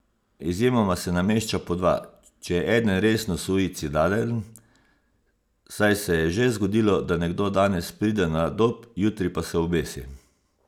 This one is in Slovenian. Izjemoma se namešča po dva, če je eden resno suicidalen, saj se je že zgodilo, da nekdo danes pride na Dob, jutri pa se obesi.